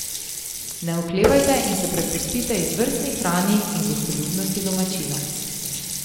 Ne oklevajte in se prepustite izvrstni hrani in gostoljubnosti domačinov.